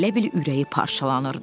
elə bil ürəyi parçalanırdı.